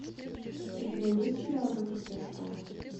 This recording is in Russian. у тебя есть сериал закрытая школа